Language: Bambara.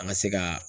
An ka se ka